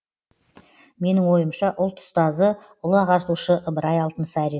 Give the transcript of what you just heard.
менің ойымша ұлт ұстазы ұлы ағартушы ыбырай алтынсарин